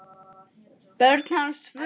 Börn hans eru tvö.